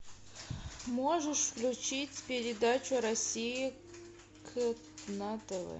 можешь включить передачу россия к на тв